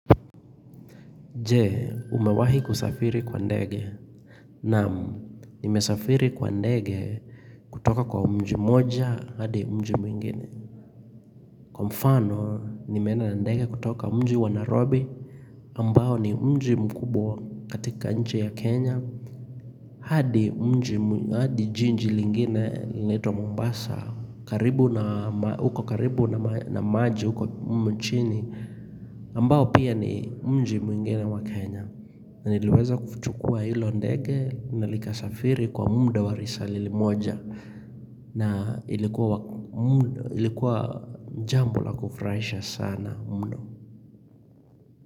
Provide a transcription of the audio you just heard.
Jee umewahi kusafiri kwa ndege nam nimesafiri kwa ndege kutoka kwa mji moja hadi mji mwingine kwa mfano, nimeenda na ndege kutoka mji wa nairobi ambao ni mji mkubwa katika nchi ya kenya hadi mji hadi jiji lingine linaitwa mombasa karibu na maji uko karibu na maji uko mchini ambao pia ni mji mwingine wa kenya Niliweza kufuchukua hilo ndege na likasafiri kwa muda wa risali moja na ilikuwa jambo la kufurahisha sana mno.